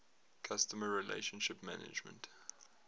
customer relationship management